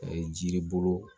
jiri bolo